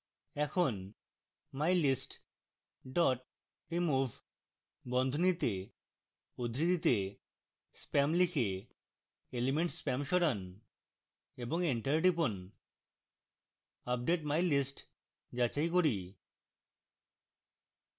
এখন mylist dot remove বন্ধনীতে উদ্ধৃতিতে spam লিখে element spam সরান এবং enter টিপুন আপডেট mylist যাচাই করি